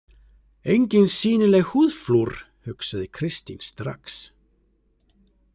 Engin sýnileg húðflúr, hugsaði Kristín strax.